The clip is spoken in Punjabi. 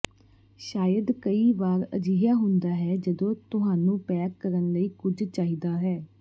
ਸ਼ਾਇਦ ਕਈ ਵਾਰ ਅਜਿਹਾ ਹੁੰਦਾ ਹੈ ਜਦੋਂ ਤੁਹਾਨੂੰ ਪੈਕ ਕਰਨ ਲਈ ਕੁਝ ਚਾਹੀਦਾ ਹੈ